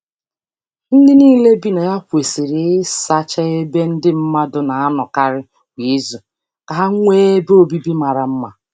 Ndị niile bi na ya kwesịrị ịsacha ebe ndị mmadụ na-anọkarị kwa izu ka ha nwee ebe obibi mara mma.